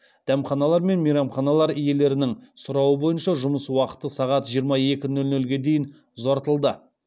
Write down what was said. дәмханалар мен мейрамханалар иелерінің сұрауы бойынша жұмыс уақыты сағат жиырма екі нөл нөлге дейін ұзартылды